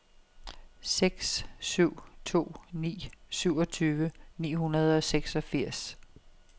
seks syv to ni syvogtyve ni hundrede og seksogfirs